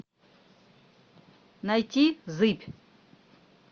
найти зыбь